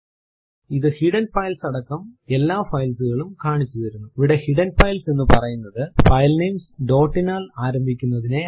ഇത് hidden files അടക്കം എല്ലാ files കളും കാണിച്ചു തരുന്നുഇവിടെ ഹിഡൻ ഫൈൽസ് എന്ന് പറയുന്നതു ഫൈല്നേംസ് ഡോട്ട് നാൽ ആരംഭിക്കുന്നതിനെയാണ്